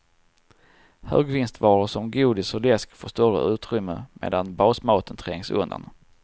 Högvinstvaror som godis och läsk får större utrymme medan basmaten trängs undan.